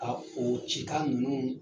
a o cikan ninnu